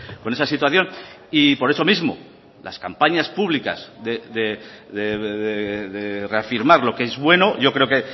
con esa situación y por eso mismo las campañas públicas de reafirmar lo que es bueno yo creo que